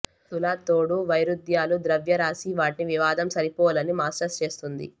తుల తోడు వైరుధ్యాలు ద్రవ్యరాశి వాటిని వివాదం సరిపోలని మాస్టర్స్ చేస్తుంది